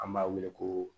An b'a wele ko